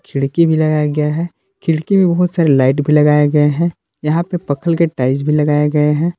खिलाड़ी भी लगाया गया है खिड़की में बहुत सारे लाइट भी लगाया गया है यहां पे पत्थर के टाइल्स भी लगाए गए है।